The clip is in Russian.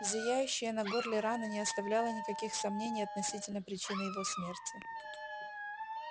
зияющая на горле рана не оставляла никаких сомнений относительно причины его смерти